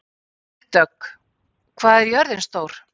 Vígdögg, hvað er jörðin stór?